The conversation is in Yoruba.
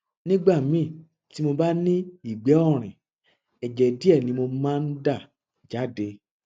nígbà míì tí mo bá ní ìgbẹ ọrìn ẹjẹ díẹ ni mo máa ń dà jáde